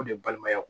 O de ye balimaya ye